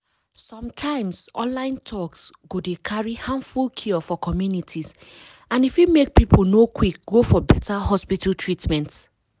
sometimes online talks go dey carry harmful cure for communities and e fit make people no quick go for beta hospital treatment.